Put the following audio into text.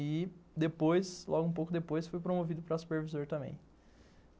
E depois, logo um pouco depois, fui promovido para Supervisor também.